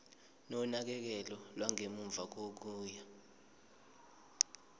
nonakekelo lwangemuva kokuya